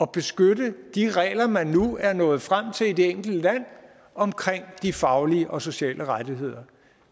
beskytte de regler man nu er nået frem til i det enkelte land om de faglige og sociale rettigheder